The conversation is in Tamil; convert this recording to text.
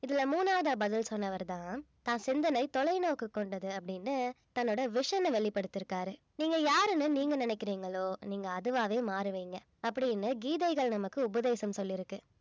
இதுல மூணாவதா பதில் சொன்னவருதான் தான் சிந்தனை தொலைநோக்கு கொண்டது அப்படின்னு தன்னோட vision அ வெளிப்படுத்தியிருக்காரு நீங்க யாருன்னு நீங்க நினைக்கிறீங்களோ நீங்க அதுவாவே மாறுவீங்க அப்படின்னு கீதைகள் நமக்கு உபதேசம் சொல்லி இருக்கு